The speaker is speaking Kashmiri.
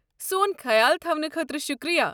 سون خیال تھَونہٕ خٲطرٕ شُکریہ۔